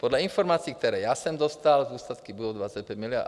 Podle informací, které já jsem dostal, zůstatky budou 25 miliard.